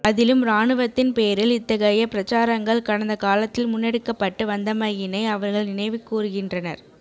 அதிலும் இராணுவத்தின் பேரில் இத்தகைய பிரச்சாரங்கள் கடந்த காலத்தில் முன்னெடுக்கப்பட்டு வந்தமையினை அவர்கள் நினைவுகூருகின்றனர்